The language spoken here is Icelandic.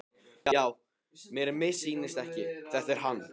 Já, mér missýnist ekki, þetta er hann.